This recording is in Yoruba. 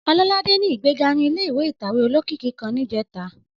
Ọlọ́ládé ní ìgbéga ní ilé ìtàwé olókìkí kan níjẹta.